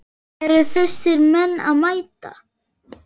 Eru þessir menn að mæta?